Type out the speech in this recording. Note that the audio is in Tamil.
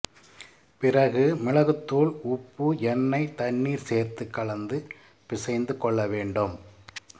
பிறகு மிளகுத்துாள் உப்பு எண்ணெய் தண்ணீர் சேர்த்து கலந்து பிசைந்துகொள்ள வேண்டும்